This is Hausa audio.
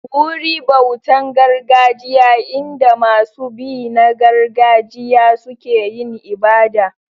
Wuri bautan gargajiya in da masu bi na gargajiya suke yin ibada.